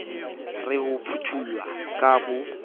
le ho phuthollwa ka bo